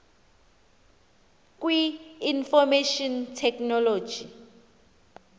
kwi information technology